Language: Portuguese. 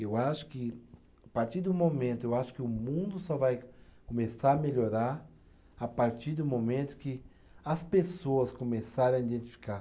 Eu acho que, a partir do momento, eu acho que o mundo só vai começar a melhorar a partir do momento que as pessoas começarem a identificar.